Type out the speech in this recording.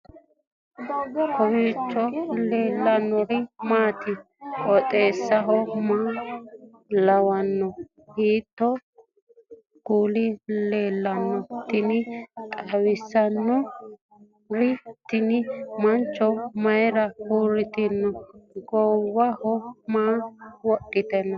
kowiicho leellannori maati ? qooxeessu maa lawaanno ? hiitoo kuuli leellanno ? tini xawissannori tini mancho mayira uurritino goowaho maa wodhitino